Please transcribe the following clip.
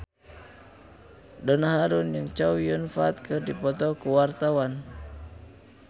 Donna Harun jeung Chow Yun Fat keur dipoto ku wartawan